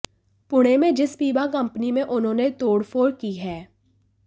पुणे में जिस बीमा कंपनी में उन्होंने तोडफ़ोड़ की है